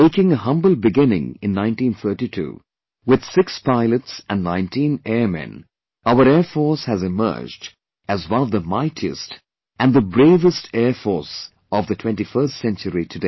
Making a humble beginning in 1932 with six pilots and 19 Airmen, our Air Force has emerged as one of mightiest and the bravest Air Force of the 21st century today